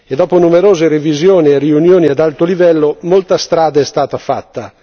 Dopo numerose revisioni e riunioni ad alto livello, molta strada è stata fatta.